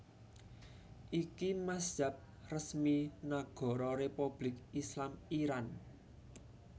Iki mazhab resmi Nagara Republik Islam Iran